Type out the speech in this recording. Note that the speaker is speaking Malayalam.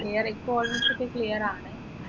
clear ഇപ്പൊ almost ഒക്കെ clear ആണ്